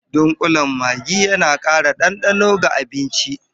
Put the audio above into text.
Dunƙulen Maggi yana ƙara ɗanɗano ga abinci.